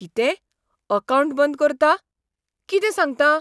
कितें? अकावंट बंद करता? कितें सांगता?